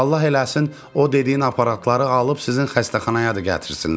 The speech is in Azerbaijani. Allah eləsin o dediyin aparatları alıb sizin xəstəxanaya da gətirsinlər.